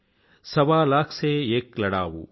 సవా లాఖ్ సే ఎక్ లడావూ